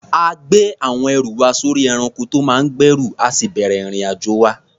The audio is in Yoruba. A gbé àwọn ẹrù wa sórí ẹranko tó máa ń gbẹ́rù, a sì bẹ̀rẹ̀ ìrìn-àjò wa.